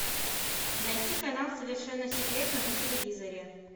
найти канал совершенно секретно на телевизоре